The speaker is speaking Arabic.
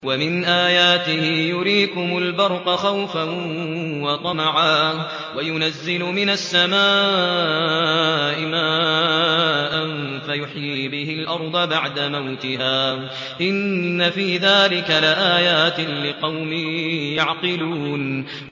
وَمِنْ آيَاتِهِ يُرِيكُمُ الْبَرْقَ خَوْفًا وَطَمَعًا وَيُنَزِّلُ مِنَ السَّمَاءِ مَاءً فَيُحْيِي بِهِ الْأَرْضَ بَعْدَ مَوْتِهَا ۚ إِنَّ فِي ذَٰلِكَ لَآيَاتٍ لِّقَوْمٍ يَعْقِلُونَ